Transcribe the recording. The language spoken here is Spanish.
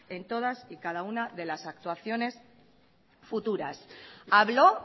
en todas y cada una de las actuaciones futuras habló